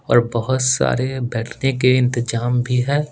और बहुत सारे बैठने के इंतजाम भी है।